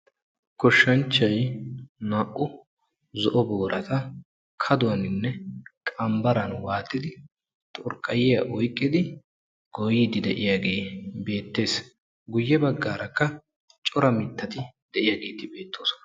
Goshshanchchayi naa'u zo'o boorata kaduwaninne qanbbaran waaxidi xurqqayyiya oyqqidi goyyiiddi de'iyagee beettes. Guyye baggaarakka cora mittati de'iyageetikka beettoosona.